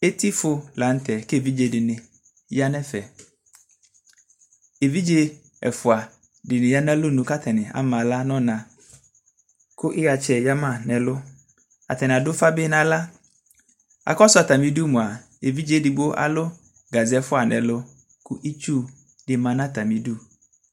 etifo latɛ ke evidze dini ya nɛ fɛ evidze ɛfoa dini ya na lonu ka tani ama la nɔna ku iɣatsɛ ya ma nɛ ɛlu atani adu ufa bi naxla akɔsu atamidu moa evidze degbo alu gaze ɛfua nɛ ɛlu ku itsu di ma na atamidu